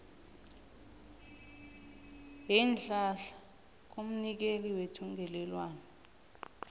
yeenhlahla kumnikeli wethungelelwano